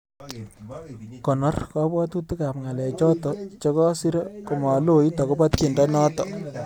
Konoor kabwatutikab ngalechoto chegasiire komaloit agoba tyendo noto